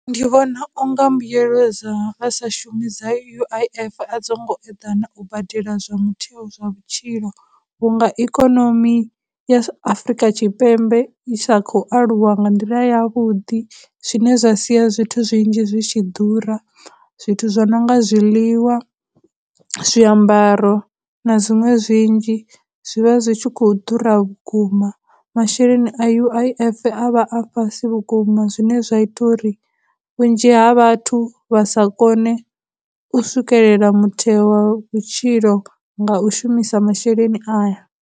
Ndi vhona u nga mbuyelo dza a sa shumi dza U_I_F a dzo ngo eḓana u badela zwa mutheo zwa vhutshilo vhunga ikonomi ya Afurika Tshipembe i sa khou aluwa nga nḓila yavhuḓi, zwine zwa sia zwithu zwinzhi zwi tshi ḓura. Zwithu zwo no nga zwiḽiwa, zwiambaro, na dziṅwe zwinzhi, zwivha zwi tshi khou ḓura vhukuma. Masheleni a U_I_F a vha a fhasi vhukuma zwine zwa ita uri vhunzhi ha vhathu vha sa kone u swikelela mutheo wa vhutshilo nga u shumisa masheleni aya.